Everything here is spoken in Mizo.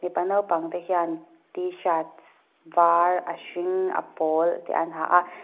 mipa naupang te hian tshirts var a hring a pawl te an ha a--